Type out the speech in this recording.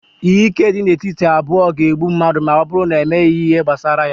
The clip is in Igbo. ihe ike a dị n'etiti abụọ ga-egbu mmadụ ma ọ bụrụ na emeghị ihe gbasara ya